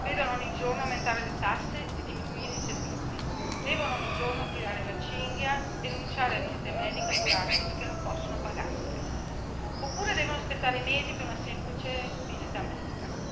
Signor Presidente, onorevoli colleghi, i cittadini italiani vedono ogni giorno aumentare le tasse e diminuire i servizi, devono ogni giorno tirare la cinghia, rinunciare a visite mediche e a curarsi perché non possono pagarsele, oppure devono aspettare mesi per una semplice visita medica.